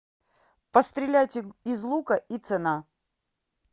пострелять из лука и цена